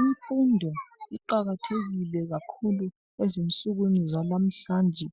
Imfundo iqakathekile kakhulu ezinsukwini zanamhlanje